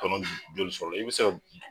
Tɔnɔ joli sɔrɔ la i bɛ se